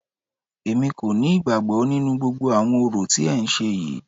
Èmi kò ní ìgbàgbọ nínú gbogbo àwọn orò tí ẹ ń ṣe yìí.